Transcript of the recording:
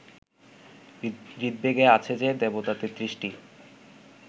ঋগ্বেদে আছে যে, দেবতা তেত্রিশটি